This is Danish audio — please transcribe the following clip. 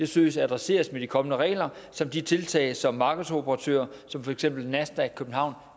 søges adresseret med de kommende regler som de tiltag som markedsoperatører som for eksempel nasdaq københavn